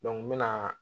n mɛna